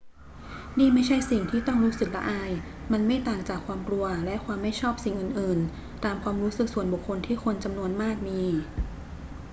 นี่ไม่ใช่สิ่งที่ต้องรู้สึกละอาย มันไม่ต่างจากความกลัวและความไม่ชอบสิ่งอื่น ๆ ตามความรู้สึกส่วนบุคคลที่คนจำนวนมากมี